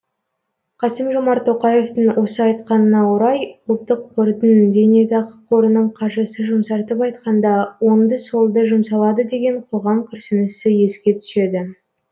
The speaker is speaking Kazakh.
қасым жомарт тоқаевтың осы айтқанына орай ұлттық қордың зейнетақы қорының қаржысы жұмсартып айтқанда оңды солды жұмсалады деген қоғам күрсінісі еске түседі